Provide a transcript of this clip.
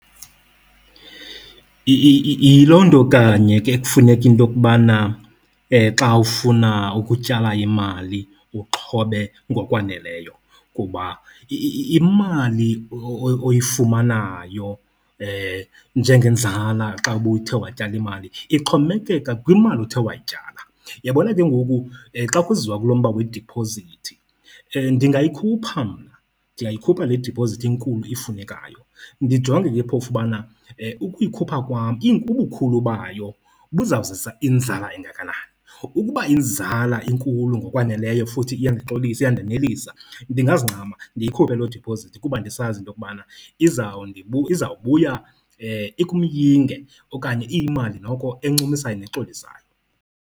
Yiloo nto kanye ke kufuneka into yokubana xa ufuna ukutyala imali uxhobe ngokwaneleyo kuba imali oyifumanayo njengenzala xa ubuthe watyala imali ixhomekeka kwimali othe wayityala. Uyabona ke ngoku xa kuziwa kulo mba wediphozithi, ndingayikhupha mna, ndingayikhupha le diphozithi inkulu ifunekayo. Ndijonge ke phofu ubana ukuyikhupha kwam ubukhulu bayo buzawuzisa inzala engakanani. Ukuba inzala inkulu ngokwaneleyo futhi iyandixolisa, iyandenelisa, ndingazincama ndiyikhuphe loo diphizithi kuba ndisazi into yokubana izawubuya ikumyinge okanye iyimali noko encumisayo nexolisayo.